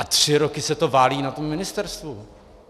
A tři roky se to válí na tom ministerstvu.